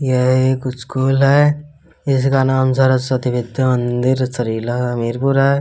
यह एक स्कूल है। इसका नाम सरस्वती विद्या मंदिर सरीला हमीरपुर है।